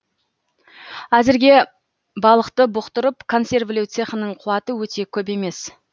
әзірге балықты бұқтырып консервілеу цехының қуаты өте көп емес